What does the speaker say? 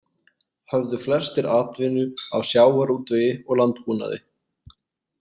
Höfðu flestir atvinnu af sjávarútvegi og landbúnaði.